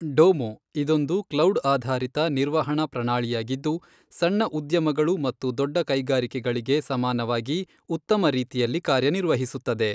ಡೋಮೋ, ಇದೊಂದು ಕ್ಲೌಡ್ ಆಧಾರಿತ ನಿರ್ವಹಣಾ ಪ್ರಣಾಲಿಯಾಗಿದ್ದು, ಸಣ್ಣ ಉದ್ಯಮಗಳು ಮತ್ತು ದೊಡ್ಡ ಕೈಗಾರಿಕೆಗಳಿಗೆ ಸಮಾನವಾಗಿ ಉತ್ತಮ ರೀತಿಯಲ್ಲಿ ಕಾರ್ಯನಿರ್ವಹಿಸುತ್ತದೆ.